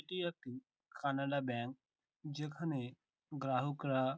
এটি একটি কানাড়া ব্যাঙ্ক যেখানে গ্রাহকরা--